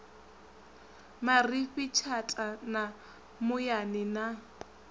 marifhi tshata ya muyani na